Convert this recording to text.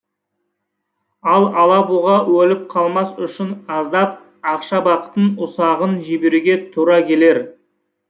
ал алабұға өліп қалмас үшін аздап ақшабақтың ұсағын жіберуге тура келер